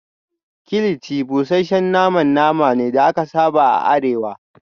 kilichi busasshen naman nama ne da aka saba a arewa